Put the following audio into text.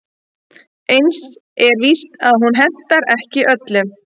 Eins er víst að hún hentar ekki öllum.